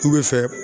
K'u bɛ fɛ